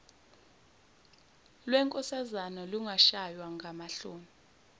lwenkosazana lungashaywa ngamahloni